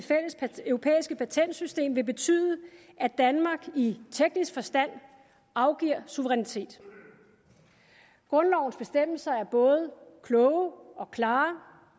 fælles europæiske patentsystem vil betyde at danmark i teknisk forstand afgiver suverænitet grundlovens bestemmelser er både kloge og klare